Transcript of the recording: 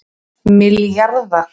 milljarðar